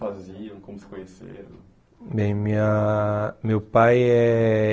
Faziam, como se conheceram. Bem, minha, meu pai eh